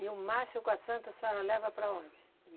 E o mastro com a Santa, a senhora leva para onde?